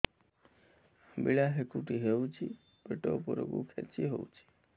ଅମ୍ବିଳା ହେକୁଟୀ ହେଉଛି ପେଟ ଉପରକୁ ଖେଞ୍ଚି ହଉଚି